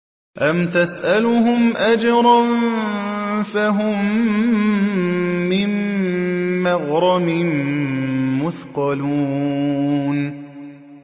أَمْ تَسْأَلُهُمْ أَجْرًا فَهُم مِّن مَّغْرَمٍ مُّثْقَلُونَ